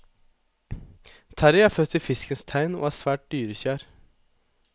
Terrie er født i fiskens tegn og er svært dyrekjær.